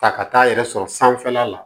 Ta ka taa yɛrɛ sɔrɔ sanfɛla la